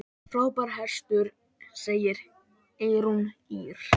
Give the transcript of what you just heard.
Frábær hestur, segir Eyrún Ýr.